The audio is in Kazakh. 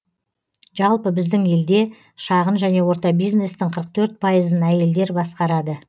жалпы біздің елде шағын және орта бизнестің қырық төрт пайызын әйелдер басқарады